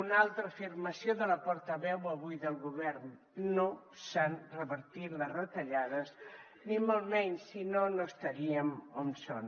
una altra afirmació de la portaveu avui del govern no s’han revertit les retallades ni molt menys si no no estaríem on som